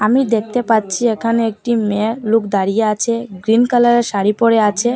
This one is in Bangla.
আমি দেখতে পাচ্ছি এখানে একটি মেয়ে লোক দাঁড়িয়ে আছে গ্রীন কালারের শাড়ি পরে আছে।